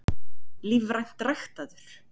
Lífrænt ræktaður?